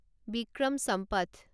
Vikram Sampath